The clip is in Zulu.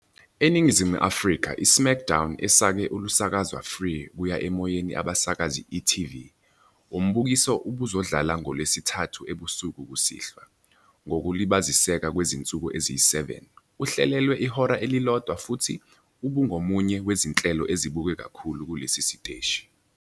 Eningizimu Afrika, i S"mackDown" esake olusakazwa free-kuya-emoyeni abasakazi e.tv. Umbukiso ubuzodlala ngoLwesithathu ebusuku kusihlwa, ngokulibaziseka kwezinsuku eziyi-7, uhlelelwe ihora elilodwa futhi ubungomunye wezinhlelo ezibukwe kakhulu kulesi siteshi.